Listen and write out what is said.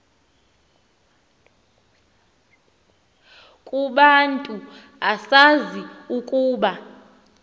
kubantu usazi ukuba